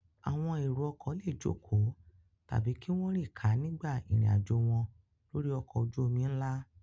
Àwọn èrò-ọkọ̀ le jókòó tàbí kí wọ́n rìn ká nígbà ìrìnàjò wọn lórí ọkọ̀ ojú-omi ńlá.